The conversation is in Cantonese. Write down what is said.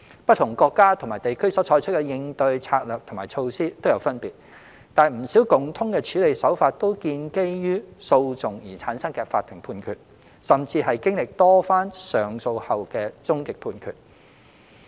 不同國家及地區所採取的應對策略和措施皆有分別，但不少共通的處理手法均建基於訴訟而產生的法庭判決，甚至是經歷多番上訴後的終極判決。